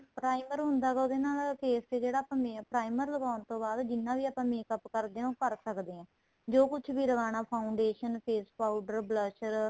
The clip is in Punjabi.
primer ਹੁੰਦਾ ਹੈਗਾ ਉਹਦੇ ਨਾਲ face ਤੇ ਜਿਹੜਾ primer ਲਗਾਉਣ ਤੋਂ ਬਾਅਦ ਜਿੰਨਾ ਵੀ ਆਪਾਂ makeup ਕਰਦੇ ਹਾਂ ਉਹ ਕਰ ਸਕਦੇ ਹਾਂ ਜੋ ਕੁੱਝ ਵੀ ਲਗਾਣਾ foundation face powder blusher